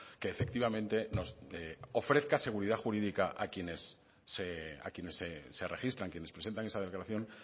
que efectivamente nos ofrezca seguridad jurídica a quienes se registran quienes presentan esa declaración